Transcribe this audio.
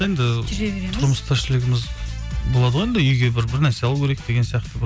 енді жүре береміз тұрмыс тіршілігіміз болады ғой енді үйге бір бір нәрсе алу керек деген сияқты бір